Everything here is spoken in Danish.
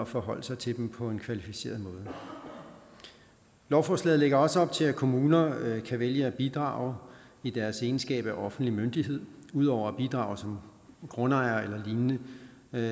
forholde sig til dem på en kvalificeret måde lovforslaget lægger også op til at kommuner kan vælge at bidrage i deres egenskab af offentlig myndighed ud over at bidrage som grundejere eller lignende